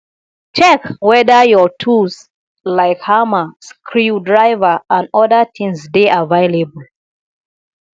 check weda your tools like hammer screw driver and oda things dey available